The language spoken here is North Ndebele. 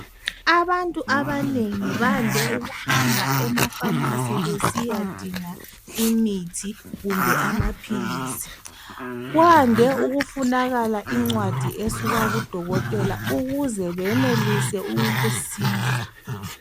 Abantu abanengi bande ukuhamba ema pharmacy besiyadinga imithi kumbe amaphilisi kwande ukufunakala incwadi esuka kudokotela ukuze benelise ukusiza